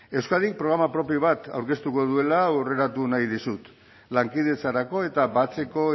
euskadik programa propio bat aurkeztuko duela aurreratu nahi dizut lankidetzarako eta batzeko